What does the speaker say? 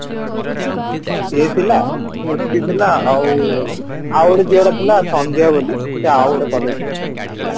ସିଏ ଥିଲା ସ୍ମୁତି ଥିଲା ଆଉ ଆଉ ଗୋଟେ ଝିଅଟେ ଥିଲା ସନ୍ଧ୍ୟା ବୋଲି ସେ ଆଉ ଗୋଟେ collegeରୁ ଥିଲା